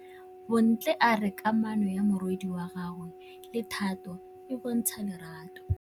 Bontle a re kamanô ya morwadi wa gagwe le Thato e bontsha lerato.